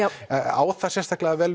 á það sérstaklega vel